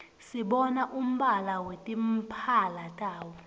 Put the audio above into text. sibona umbala wetimphala tabo